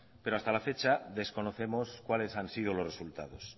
pero hasta la fecha desconocemos cuáles han sido los resultados